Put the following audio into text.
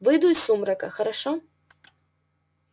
выйду из сумрака хорошо